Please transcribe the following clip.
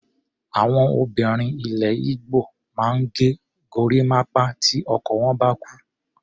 Àwọn obìnrin ilẹ̀ Igbo máa ń ge gorímápá tí ọkọ wọ́n bá kú.